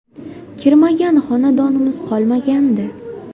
Kirmagan xonadonimiz qolmagandi.